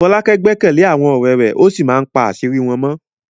Folake gbẹ́kẹ̀lé àwọn ọ̀rẹ́ rẹ̀ ó sì máa ń pa àṣírí wọn mọ́.